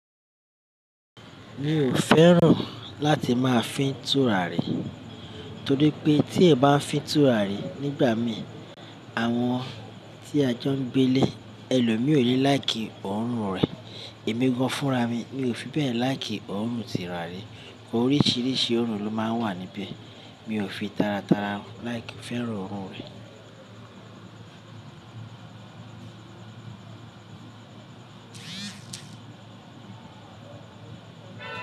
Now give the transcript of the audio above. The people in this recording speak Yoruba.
Mi ò fẹ́ràn láti máa fín tùràrí torí pé tí èèyàn bá fín tùràrí nígbà mí, àwọn tí a jọ ń gbé ilé, ẹlò mi ò ní láìkì òórùn rẹ̀. Èmi gan-an fúnra mi, mi ò fi bẹ́ẹ̀ láìkì òórùn tùràrí. Oríṣiríṣi òórùn ló máa ń wà níbẹ̀, mi ò fi tátaratàrá láìkì fẹ́ràn òórùn rẹ̀